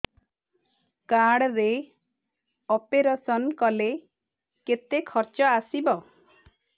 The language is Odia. କାର୍ଡ ରେ ଅପେରସନ କଲେ କେତେ ଖର୍ଚ ଆସିବ